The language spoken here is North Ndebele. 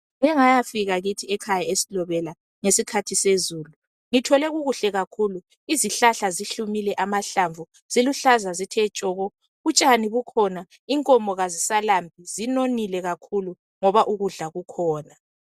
Ngike ngayafika kithi ekhaya e Silobela ngesikhathi sezulu, ngithole kuhle kakhulu Izihlahla zihlumile amahlamvu, ziluhlaza zithe tshoko utshani bukhona, inkomo kazisalambi zinonile kakhulu ngoba ukudla kukhona.